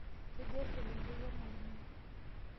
Kejaa eselenkei ormwalimui?